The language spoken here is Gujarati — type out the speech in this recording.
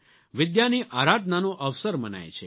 વિદ્યાની આરાધનાનો અવસર મનાય છે